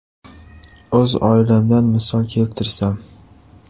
O‘z oilamdan misol keltirsam.